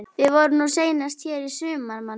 Við vorum nú seinast hér í sumar, manstu?